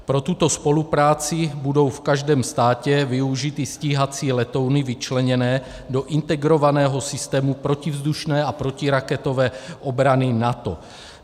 Pro tuto spolupráci budou v každém státě využity stíhací letouny vyčleněné do integrovaného systému protivzdušné a protiraketové obrany NATO.